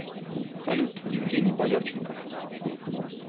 салют евгений боярченков